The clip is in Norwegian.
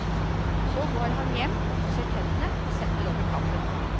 Så går han hjem og pusser tennene og setter over kaffen.